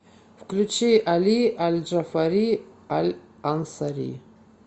включи али аль джафари аль ансари